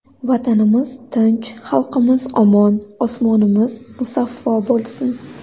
Vatanimiz tinch, xalqimiz omon, osmonimiz musaffo bo‘lsin!